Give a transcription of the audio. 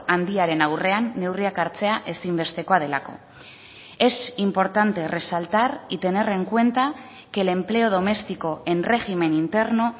handiaren aurrean neurriak hartzea ezinbestekoa delako es importante resaltar y tener en cuenta que el empleo doméstico en régimen interno